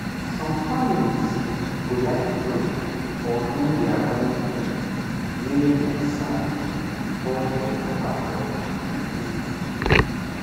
some families go like pray or do their own thing wey dem sabi before dem allow doctor do anything